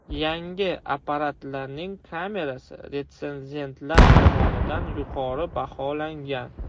Yangi apparatlarning kamerasi retsenzentlar tomonidan yuqori baholangan.